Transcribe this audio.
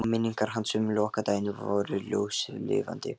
Og minningar hans um lokadaginn voru ljóslifandi.